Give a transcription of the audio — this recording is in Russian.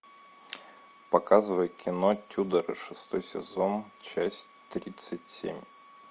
показывай кино тюдоры шестой сезон часть тридцать семь